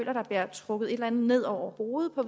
trukket et eller andet ned over hovedet og